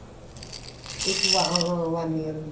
ਇੱਕ ਵਾਂ one year ਦੀ